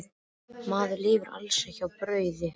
Maðurinn lifir alls ekki á brauði.